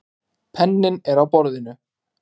Penninn er á borðinu.